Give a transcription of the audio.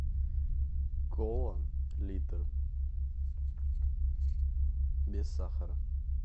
кола литр без сахара